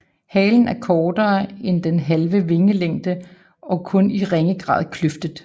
Halen er kortere end den halve vingelængde og kun i ringe grad kløftet